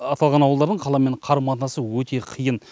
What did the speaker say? аталған ауылдардың қаламен қарым қатынасы өте қиын